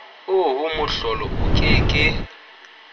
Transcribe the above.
oo mohlolo o ke ke